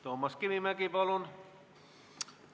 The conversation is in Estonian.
Toomas Kivimägi, palun!